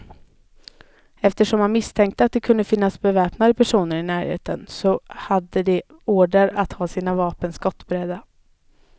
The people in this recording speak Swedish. Eftersom man misstänkte att det kunde finnas beväpnade personer i närheten, så hade de order att ha sina vapen skottberedda.